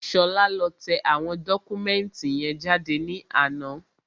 Ṣọlá lọ tẹ àwọn dọ́kúmẹ̀ntì yẹn jáde ní àná